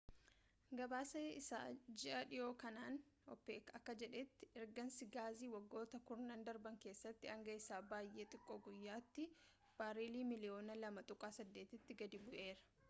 gabaasa isaa ji'aa dhihoo kanaan opec akka jedhetti ergiinsi gaazii waggoota kurnan darban keessatti hanga isa baay'ee xiqqoo guyyaatti bareelii miliyyoona 2.8 tti gadi bu'eera